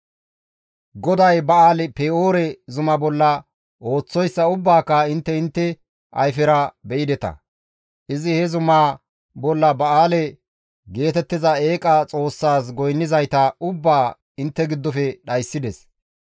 GODAY Ba7aali-Pe7oore zuma bolla ooththoyssa ubbaaka intte intte ayfera be7ideta; izi he zumaa bolla Ba7aale geetettiza eeqa xoossaas goynnizayta ubbaa intte giddofe dhayssides.